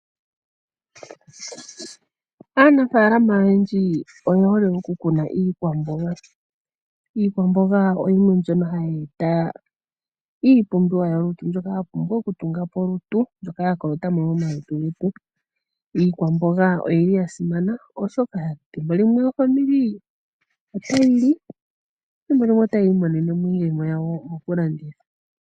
Aanafaalama oyendji oye hole oku kuna iikwamboga. Iikwamboga oyo yimwe mbyono hayi eta iipumbiwa yolutu mbyoka yapumbwa okutunga po olutu mbyoka ya kolota mo momalutu getu . Iikwamboga oyili yasimana oshoka thimbo limwe aakwanezimo otaya li thimbo limwe otaya imonene mo iiyemo yawo mokulanditha.